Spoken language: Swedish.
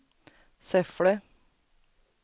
Säffle